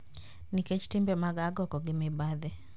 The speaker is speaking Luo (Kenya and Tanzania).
Nikech timbe mag agoko gi mibadhi.